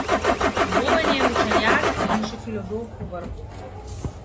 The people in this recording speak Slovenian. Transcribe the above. Boben je učenjak in še filozof povrhu.